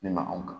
Ne ma anw kan